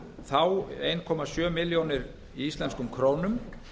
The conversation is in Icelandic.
þá einn komma sjö milljónir í íslenskum krónum